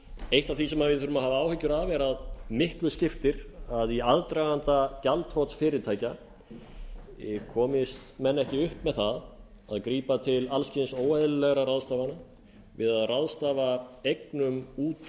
eitt af því sem við þurfum að hafa áhyggjur af er að miklu skiptir að í aðdraganda gjaldþrots fyrirtækja komist menn ekki upp með það að grípa til alls kyns óeðlilegra ráðstafana við að ráðstafa eignum út